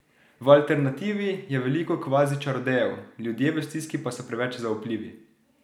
V alternativi je veliko kvazi čarodejev, ljudje v stiski pa so preveč zaupljivi!